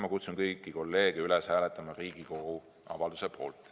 Ma kutsun kõiki kolleege üles hääletama Riigikogu avalduse poolt.